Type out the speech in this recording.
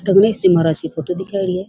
गणेश जी महाराज की फोटो दिखाएडी है।